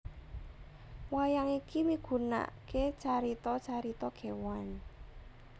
Wayang iki migunaaké carita carita kéwan